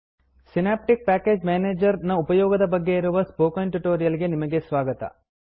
synaptic package manager Synaptic package manager ನ ಉಪಯೋಗದ ಬಗ್ಗೆ ಇರುವ ಸ್ಪೋಕನ್ ಟ್ಯುಟೋರಿಯಲ್ ಗೆ ನಿಮಗೆ ಸ್ವಾಗತ